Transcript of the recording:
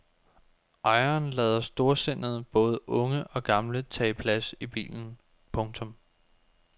Ejeren lader storsindet både unge og gamle tage plads i bilen. punktum